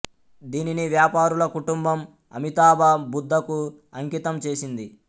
దీనిని వ్యాపారుల కుటుంబం అమితాభా బుద్ధ కు అంకితం చేసింది